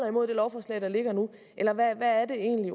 imod det lovforslag der ligger nu eller hvad er det egentlig